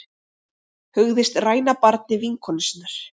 Hugðist ræna barni vinkonu sinnar